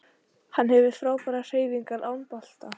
Hann hefur frábærar hreyfingar án bolta